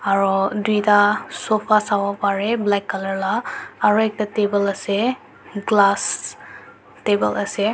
aro tuita sofa sabo parae black color la aro ekta table ase glass table ase.